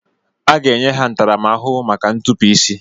Aga enye ha ntaramahụhụ maka ntupu isi.